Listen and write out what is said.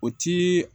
O ti